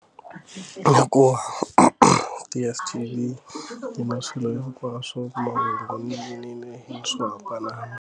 Hi ku DSTV yi na swilo hinkwaswo u kuma nhova nonile hi swohambana.